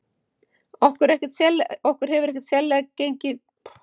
Okkur hefur ekki gengið neitt sérstaklega að ná okkur í leikmenn.